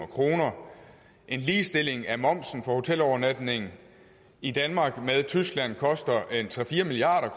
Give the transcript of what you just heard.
kroner en ligestilling af momsen på hotelovernatning i danmark med tyskland koster en tre fire milliard